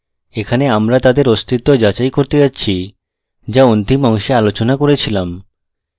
এখানে আমরা তাদের অস্তিত্ব যাচাই করতে যাচ্ছি যা অন্তিম অংশে আলোচনা করে ছিলাম